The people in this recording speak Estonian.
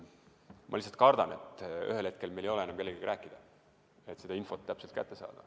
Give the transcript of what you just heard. Ma lihtsalt kardan, et ühel hetkel meil ei ole enam kellegagi rääkida, et seda infot kätte saada.